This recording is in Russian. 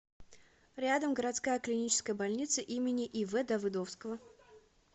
рядом городская клиническая больница им ив давыдовского